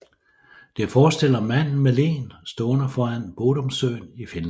Det forestiller manden med leen stående foran Bodomsøen i Finland